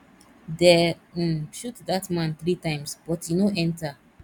dey um shoot dat man three times but e no enter